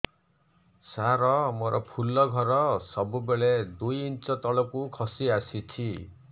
ସାର ମୋର ଫୁଲ ଘର ସବୁ ବେଳେ ଦୁଇ ଇଞ୍ଚ ତଳକୁ ଖସି ଆସିଛି